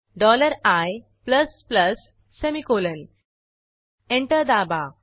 dollar I plus plus semicolon enter दाबा